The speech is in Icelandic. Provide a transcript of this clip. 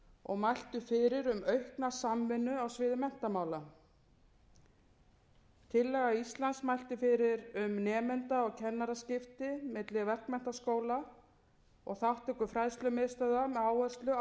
og mæltu fyrir um aukna samvinnu á sviði menntamála tillaga íslands mælti fyrir um nemenda og kennaraskipti milli verkmenntaskóla og þátttöku fræðslumiðstöðva með áherslu á nám fyrir ófaglærða